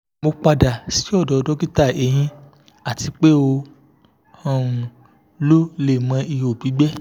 mo pada si ọdọ dokita ehin ati pe o um lo lẹẹmọ iho gbigbẹ